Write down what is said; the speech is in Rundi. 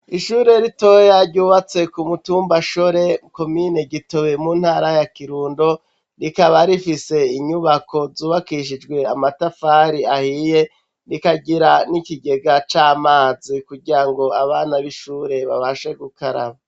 Ishure ritoya ryubatse kumutumba shore komine gitobe muntara ya kirundo ,rikaba rifise inyubako zubakishijwe amatafari ahiye ,rikagira nikigega camazi kugirango abana b’ishure babashe gukaraba.